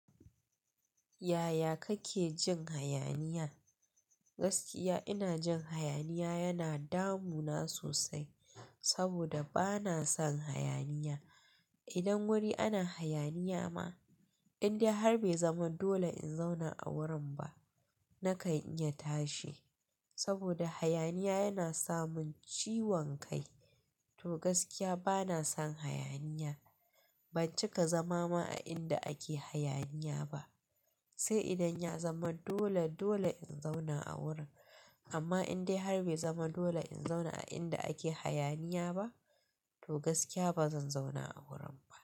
Yaya kake jin hayaniya? Gaskiya ina jin hayaniya yana damuna sosai, saboda bana son hayaniya. Idan wuri ana hayaniya ma, indai har bai zama dole in zauna a wurin ba, na kan iya tashi. Saboda hayaniya yana samun ciwon kai. To gaskiya bana son hayaniya. Ban cika zama ma a inda ake hayaniya ba. Sai idan ya zama dole, dole in zauna a wurin. Amma indai har bai zama dole in zauna a inda ake hayaniya ba, to gaskiya ba zan zauna a wurin ba.